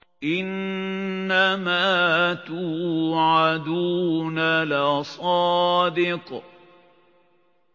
إِنَّمَا تُوعَدُونَ لَصَادِقٌ